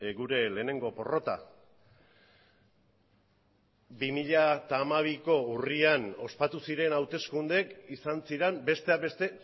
gure lehenengo porrota bi mila hamabiko urrian ospatu ziren hauteskundeek izan ziren besteak beste